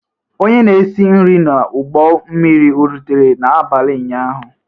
Onye na esi nri n'ụgbọ mmiri ọ rutere n'abalị ụnyaahụ?